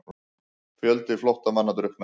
Fjöldi flóttamanna drukknaði